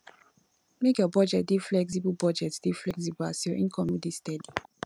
make your budget dey flexible budget dey flexible as you income no dey steady